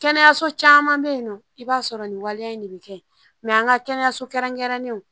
Kɛnɛyaso caman bɛ yen nɔ i b'a sɔrɔ nin waleya in de bɛ kɛ an ka kɛnɛyaso kɛrɛnkɛrɛnnenw